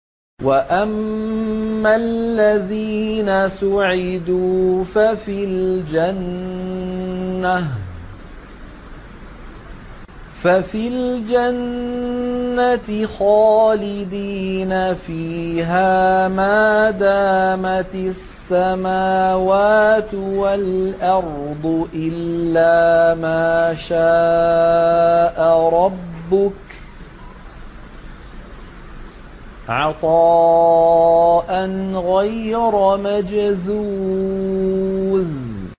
۞ وَأَمَّا الَّذِينَ سُعِدُوا فَفِي الْجَنَّةِ خَالِدِينَ فِيهَا مَا دَامَتِ السَّمَاوَاتُ وَالْأَرْضُ إِلَّا مَا شَاءَ رَبُّكَ ۖ عَطَاءً غَيْرَ مَجْذُوذٍ